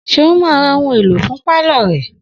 Seun ma ra ohun èlò fún pálọ̀ rẹ̀